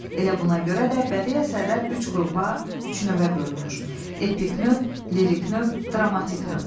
Elə buna görə də bədii əsərlər üç qrupa, üç növə bölünür: epik növ, lirik növ, dramatik növ.